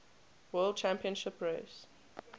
world championship race